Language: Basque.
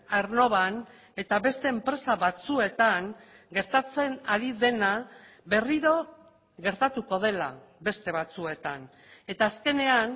aernnovan eta beste enpresa batzuetan gertatzen ari dena berriro gertatuko dela beste batzuetan eta azkenean